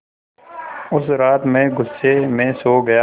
उस रात मैं ग़ुस्से में सो गया